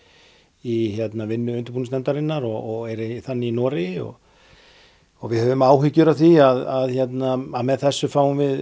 í vinnu undirbúningsnefndarinnar og er þannig í Noregi við höfum áhyggjur af því að að með þessu fáum við